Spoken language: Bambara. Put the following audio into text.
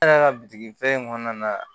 Ne yɛrɛ ka bitigi fɛ kɔnɔna na